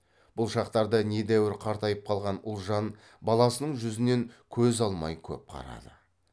бұл шақтарда недәуір қартайып қалған ұлжан баласының жүзінен көз алмай көп қарады